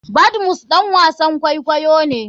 Badmus ɗan wasan kwakwayo ne.